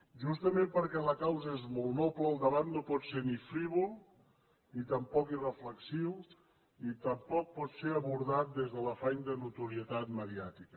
justament perquè la causa és molt noble el debat no pot ser ni frívol ni tampoc irreflexiu ni tampoc pot ser abordat des de l’afany de notorietat mediàtica